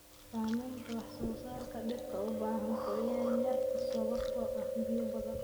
Saamaynta wax soo saarka dhirta u baahan qoyaan yar sababtoo ah biyo badan.